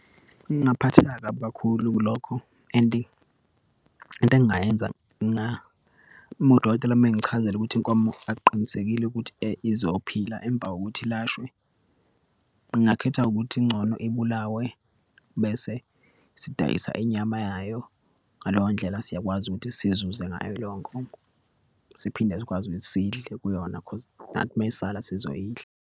Ngingaphatheka kabi kakhulu kulokho and into engingayenza nga, uma udokotela uma engichazela ukuthi inkomo akuqinisekile ukuthi izophila emva kokuthi ilashwe, ngingakhetha ukuthi ingcono ibulawe bese sidayisa inyama yayo. Ngaleyo ndlela siyakwazi ukuthi sizuze ngayo leyo nkomo, siphinde sikwazi ukuthi sidle kuyona cause nathi uma isala sizoyiladla.